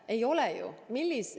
Ei ole ju!